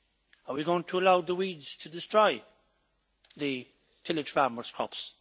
Are we going to allow the weeds to destroy the village farmers' crops?